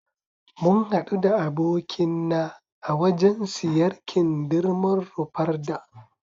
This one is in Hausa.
Mun hadu da abokin na a wajan siyar kindirmon Rufarda